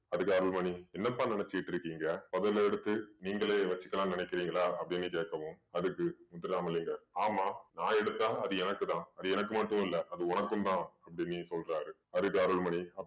அதுக்கு அருள்மணி என்னப்பா நினைச்சுகிட்டிருக்கீங்க புதையல எடுத்து நீங்களே வச்சுக்கலாம் நினைக்கிறீங்களா அப்படீன்னு கேக்கவும் அதுக்கு முத்துராமலிங்கம் ஆமாம் நான் எடுத்தா அது எனக்கு தான் அது எனக்கு மட்டும் இல்ல அது உனக்கும் தான் அப்படீன்னு சொல்றாரு. அதுக்கு அருள்மணி